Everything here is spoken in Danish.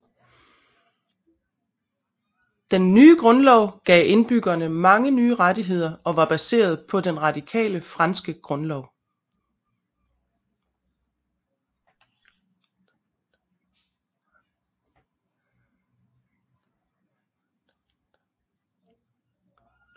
Den nye grundlov gav indbyggerne mange nye rettigheder og var baseret på den radikale franske grundlov